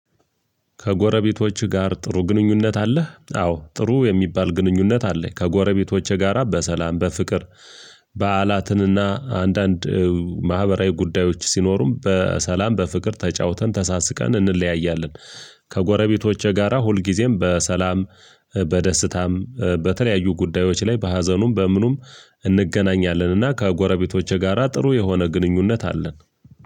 ከጎረቤቶችህ ጋር ጥሩ ግንኙነት አለህ? አዎ ጥሩ የሚባል ግንኙነት አለኝ ከጎረቤቶችህ ጋራ በሰላም በፍቅር በዓላትንና አንዳንድ ማህበራዊ ጉዳዮች ሲኖሩም በሰላም በፍቅር ተጫውተን ተሳስቀን እንለያያለን። ከጎረቤቶቼ ጋራ ሁል ጊዜም በሰላም በደስታም በተለያዩ ጉዳዮች ላይ በሀዘኑም በምኑም እንገናኛለንና። ከጎረቤቶቼ ጋራ ጥሩ የሆነ ግንኙነት አለን።